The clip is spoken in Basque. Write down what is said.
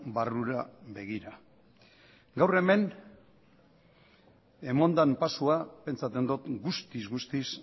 barrura begira gaur hemen eman dan pausua pentsatzen dot guztiz guztiz